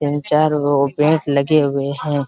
तीन चार गो बेड लगे हुए हैं।